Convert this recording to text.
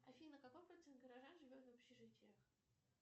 афина какой процент горожан живет в общежитиях